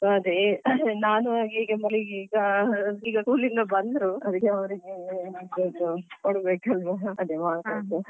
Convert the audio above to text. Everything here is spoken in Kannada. So ಅದೇ ನಾನು ಈಗ school ಇಂದ ಬಂದ್ರು ಅದಕ್ಕೆ ಅವರಿಗೆ.